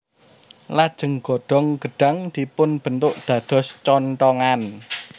Lajeng godhong gedhang dipunbentuk dados conthongan